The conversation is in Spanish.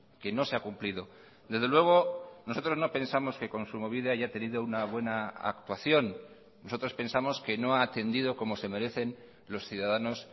que no se ha cumplido desde luego nosotros no pensamos que kontsumobide haya tenido una buena actuación nosotros pensamos que no ha atendido como se merecen los ciudadanos